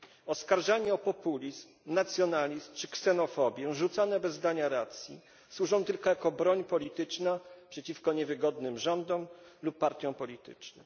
Oskarżenia o populizm, nacjonalizm czy ksenofobię, rzucane bez dania racji, służą tylko jako broń polityczna przeciwko niewygodnym rządom lub partiom politycznym.